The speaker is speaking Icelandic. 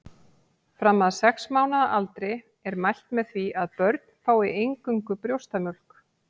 Fram að sex mánaða aldri er mælt með því að börn fái eingöngu brjóstamjólk.